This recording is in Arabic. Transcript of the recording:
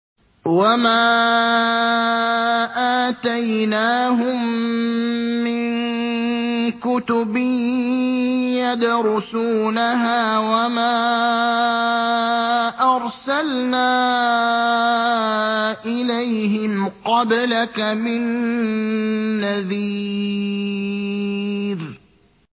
وَمَا آتَيْنَاهُم مِّن كُتُبٍ يَدْرُسُونَهَا ۖ وَمَا أَرْسَلْنَا إِلَيْهِمْ قَبْلَكَ مِن نَّذِيرٍ